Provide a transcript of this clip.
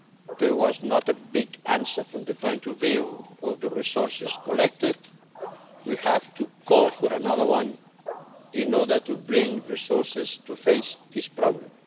There was not a big answer from the point of view of the resources collected we have to call for another one in order to bring resources to face this problem.